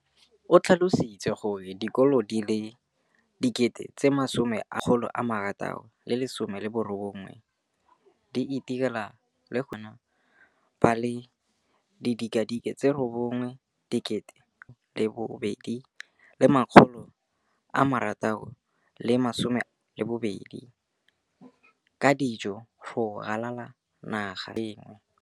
O tlhalositse gore dikolo di le 20 619 di itirela le go iphepela barutwana ba le 9 032 622 ka dijo go ralala naga letsatsi le lengwe le le lengwe.